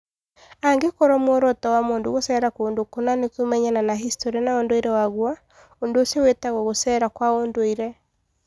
Angĩkorũo muoroto wa mũndũ gũceera kũndũ kũna nĩ kũmenyana na historĩ na ũndũire waguo, ũndũ ũcio wĩtagwo gũcera kwa ũndũire.